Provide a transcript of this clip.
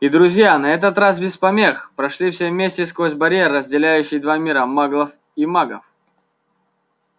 и друзья на этот раз без помех прошли все вместе сквозь барьер разделяющий два мира маглов и магов